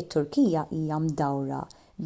it-turkija hija mdawra